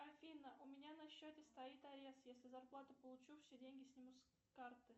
афина у меня на счете стоит арест если зарплату получу все деньги снимут с карты